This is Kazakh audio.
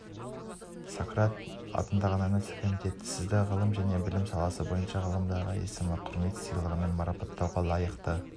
сократ атындағы номинациялық комитет сізді ғылым және білім саласы бойынша ғылымдағы есім құрмет сыйлығымен марапаттауға лайықты